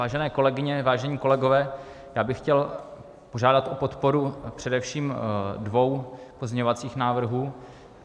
Vážené kolegyně, vážení kolegové, já bych chtěl požádat o podporu především dvou pozměňovacích návrhů.